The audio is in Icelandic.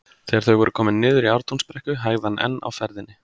Þegar þau voru komin niður í Ártúnsbrekku hægði hann enn á ferðinni.